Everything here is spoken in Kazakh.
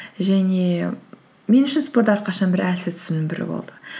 және мен үшін спорт әрқашан бір әлсіз тұсымның бірі болды